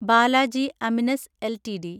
Balaji Amines LTD